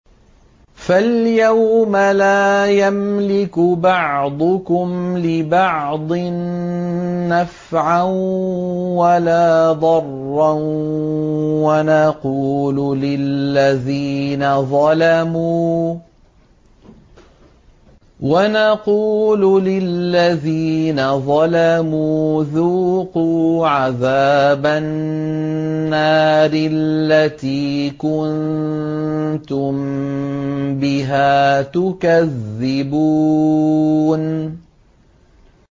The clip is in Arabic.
فَالْيَوْمَ لَا يَمْلِكُ بَعْضُكُمْ لِبَعْضٍ نَّفْعًا وَلَا ضَرًّا وَنَقُولُ لِلَّذِينَ ظَلَمُوا ذُوقُوا عَذَابَ النَّارِ الَّتِي كُنتُم بِهَا تُكَذِّبُونَ